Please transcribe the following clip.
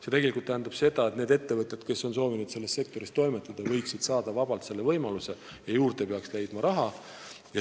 See tähendab tegelikult seda, et need ettevõtjad, kes soovivad selles sektoris toimetada, võiksid vabalt saada selle võimaluse ja raha tuleks juurde leida.